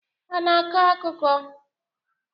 Ha ana akọ akụkọ?